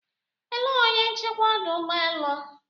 Elee onye nchekwa ọdụ ụgbọ elu?